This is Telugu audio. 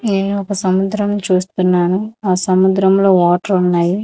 నేను ఒక సముద్రం చూస్తున్నాను ఆ సముద్రంలో వాటర్ ఉన్నాయి.